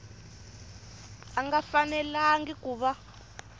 a nga fanelangi ku va